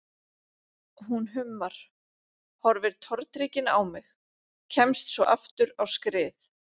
Hún hummar, horfir tortryggin á mig, kemst svo aftur á skrið.